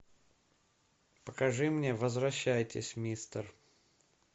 покажи мне возвращайтесь мистер